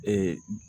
Ee